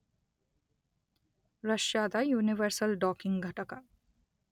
ರಷ್ಯಾದ universal docking ಘಟಕ